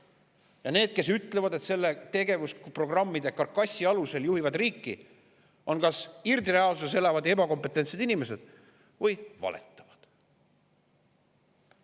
Ja need, kes ütlevad, et nad selle tegevusprogrammide karkassi alusel juhivad riiki, on kas irdreaalsuses elavad ebakompetentsed inimesed või valetavad.